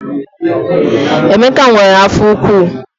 Emeka nwere afọ ụkwụ